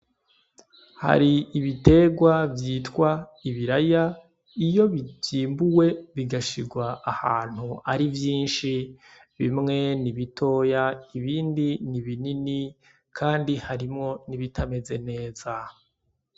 Hari ibiterwa vyitwa ibiraya, iyo vyimbuye bigashirwa ahantu ari vyinshi; bimwe ni bitoya, ibindi ni binini kandi harimwo n’ibitameze neza.